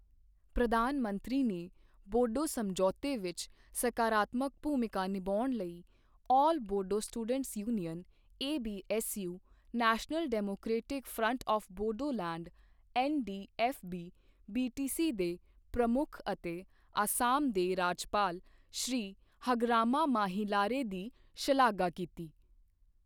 ਪ੍ਰਧਾਨ ਮੰਤਰੀ ਨੇ ਬੋਡੋ ਸਮਝੌਤੇ ਵਿੱਚ ਸਕਾਰਾਤਮਕ ਭੂਮਿਕਾ ਨਿਭਾਉਣ ਲਈ all Bodo students union ABSU, national democratic front of Bodoland NDFB, BTC ਦੇ ਪ੍ਰਮੁੱਖ ਅਤੇ ਅਸਾਮ ਦੇ ਰਾਜਪਾਲ ਸ਼੍ਰੀ ਹਗਰਾਮਾ ਮਾਹੀਲਾਰੇ ਦੀ ਸ਼ਲਾਘਾ ਕੀਤੀ।